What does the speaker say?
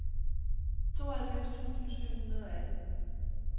tooghalvfems tusind syv hundrede og atten